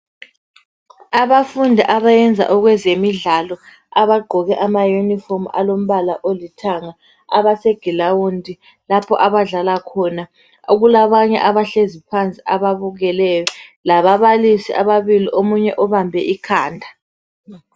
Abafundi abayenza okwezemidlalo abagqoke ama yunifomu alombala olithanga abase gilawundi, lapho abadlala khona okulabanye abahlezi phansi ababukeleyo lababalisi ababili omunye ubambe ikhanda.